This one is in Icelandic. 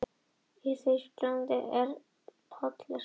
Fangavistin fór illa með hann.